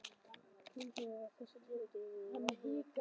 Túnsbergi er þessi tíðindi urðu er áður var frá sagt.